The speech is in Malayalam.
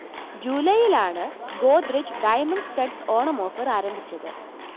ജൂലൈയിലാണ് Godrej diamond studded Onam offer ആരംഭിച്ചത്